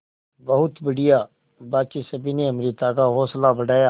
बहुत बढ़िया बाकी सभी ने अमृता का हौसला बढ़ाया